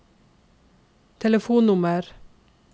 telefonnummer